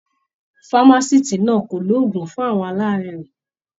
Famaciti náà kọ oògùn fún àwọn alaarẹ̀.